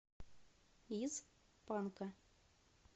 из панка